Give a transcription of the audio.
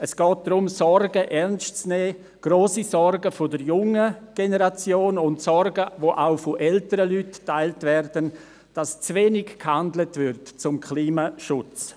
Es geht darum, Sorgen ernst zu nehmen, grosse Sorgen der jungen Generation, Sorgen, die auch von älteren Leuten geteilt werden: dass zu wenig gehandelt wird für den Klimaschutz.